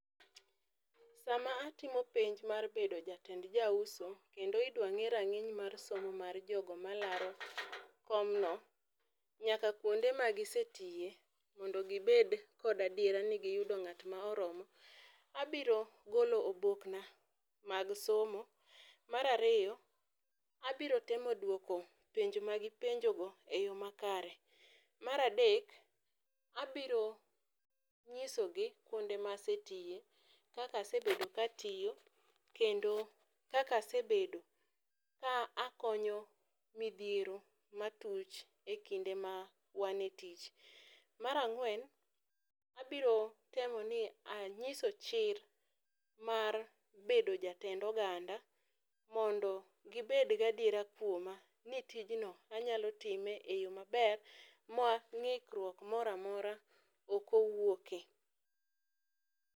Saa ma atimo penj mar bedo jatend ja uso kendo idwa ng'e rang'iny mar somo mar jogo ma laro kom no nyaka kuonde ma gi se tiyo mondo gi bed kod adiera ni gi yudo ng'at mo oromo, abiro golo oboke na mar somo. Mar ariyo, abiro temo dwoko penj ma gi penjo go e yo ma kare, mar adek abiro ng'iso gi kuonde ma asetiye, kaka asebedo ka atiyo kendo kaka asebedo ka a akonyo midhiero ma tuch e kinde ma wan e tich. Mar ang'wen, abiro neno ni ang'iso chir mar bedo jatend oganda mondo gi bed ga adiera kuoma ni tijno na anyalo time e yo ma ber ma ng'ikruok moro amora ok owuoke.